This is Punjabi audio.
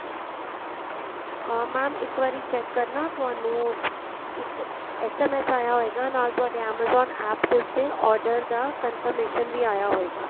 ਅਹ mam ਇੱਕ ਵਾਰੀ check ਕਰਨਾ ਤੁਹਾਨੂੰ ਇੱਕ SMS ਆਇਆ ਹੋਏਗਾ ਨਾਲ ਤੁਹਾਡੇ amazon APP ਦੇ ਉੱਤੇ order ਦਾ confirmation ਵੀ ਆਇਆ ਹੋਏਗਾ